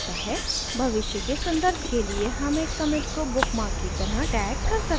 भविष्य के सन्दर्भ के लिए हम एक commit को bookmark की तरह tag कर सकते हैं